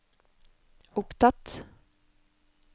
opptatt